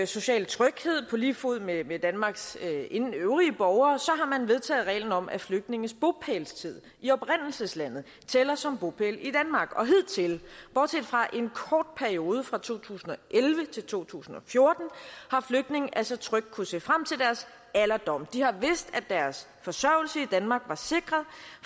sociale tryghed på lige fod med med danmarks øvrige borgere har man vedtaget reglen om at flygtninges bopælstid i oprindelseslandet tæller som bopæl i danmark og hidtil bortset fra en kort periode fra to tusind og elleve til to tusind og fjorten har flygtninge altså trygt kunnet se frem til deres alderdom de har vidst at deres forsørgelse i danmark var sikret